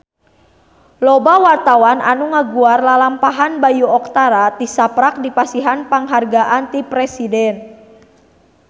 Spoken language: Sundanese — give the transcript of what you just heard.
Loba wartawan anu ngaguar lalampahan Bayu Octara tisaprak dipasihan panghargaan ti Presiden